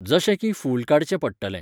जशें की फूल काडचें पडटलें.